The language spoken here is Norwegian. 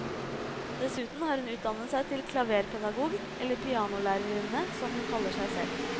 Dessuten har hun utdannet seg til klaverpedagog, eller pianolærerinne som hun kaller seg selv.